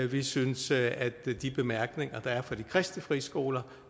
vi synes at de bemærkninger der er fra de kristne friskoler